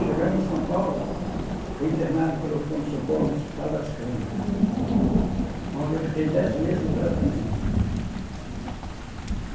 Chegando em São Paulo, fui internado pelo pronto-socorro no Hospital das Clínicas, onde eu fiquei dez meses em tratamento.